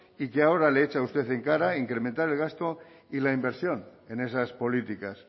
y que ahora le echa usted en cara incrementar el gasto y la inversión en esas políticas